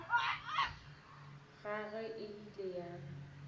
ya gagwe e ile ya